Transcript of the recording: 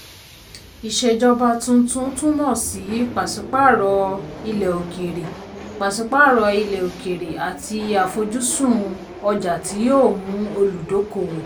ìṣèjọba tuntun túmọ̀ sí pàsípààrọ̀ ilẹ̀ òkèrè pàsípààrọ̀ ilẹ̀ òkèrè àti àfojúsùn ọjà tí yóò mú olùdókòwò.